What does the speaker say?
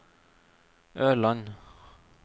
Ørland